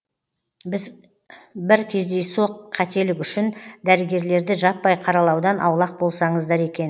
бір кездейсоқ қателік үшін дәрігерлерді жаппай қаралаудан аулақ болсаңыздар екен